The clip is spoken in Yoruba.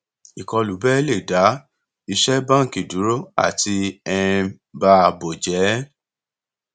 ìkọlù bẹẹ lè dá iṣẹ báńkì dúró àti um ba ààbò jẹ